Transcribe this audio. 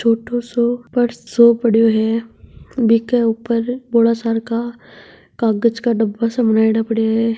छोटो सो पर्स सो पड्यो है बी के ऊपर बड़े सारा कागज का डब्बा सा बनायाडा पड्या है।